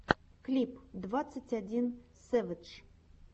клип двадцать один сэвэдж